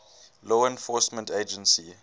law enforcement agency